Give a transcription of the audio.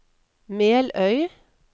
Meløy